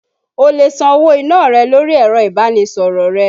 O lè san owó iná rẹ lórí ẹ̀rọ ìbánisọ̀rọ̀ rẹ.